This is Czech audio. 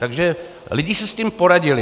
Takže lidé si s tím poradili.